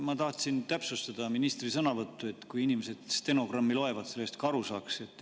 Ma tahtsin täpsustada ministri sõnavõttu, et kui inimesed stenogrammi loevad, sellest ka aru saaksid.